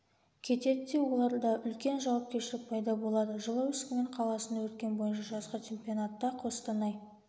кетеді де оларда үлкен жауапкершілік пайда болады жылы өскемен қаласында өткен бойынша жазғы чемпионатта қостанай